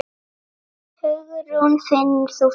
Hugrún: Finnur þú fyrir því?